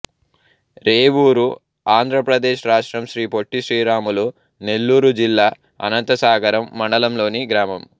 రేవూరు ఆంధ్ర ప్రదేశ్ రాష్ట్రం శ్రీ పొట్టి శ్రీరాములు నెల్లూరు జిల్లా అనంతసాగరం మండలం లోని గ్రామం